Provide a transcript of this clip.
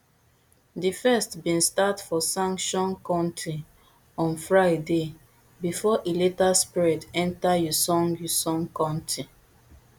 di first bin start for sancheong county on friday bifor e later spread enta uiseong uiseong county